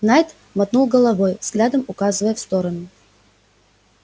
найд мотнул головой взглядом указывая в сторону